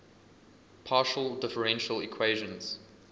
partial differential equations